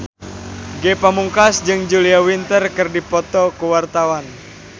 Ge Pamungkas jeung Julia Winter keur dipoto ku wartawan